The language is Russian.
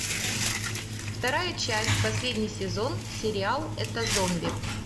вторая часть последний сезон сериал это зомби